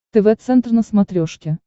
тв центр на смотрешке